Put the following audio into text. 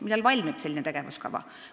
Millal valmib selline tegevuskava?